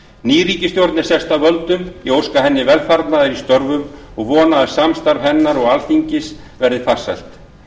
ný ríkisstjórn er sest að völdum ég óska henni velfarnaðar í störfum og vona að samstarf hennar og alþingis verði farsælt